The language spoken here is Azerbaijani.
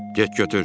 Get götür.